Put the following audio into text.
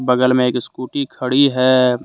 बगल में एक स्कूटी खड़ी है।